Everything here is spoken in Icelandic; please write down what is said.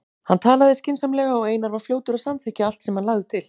Hann talaði skynsamlega og Einar var fljótur að samþykkja allt sem hann lagði til.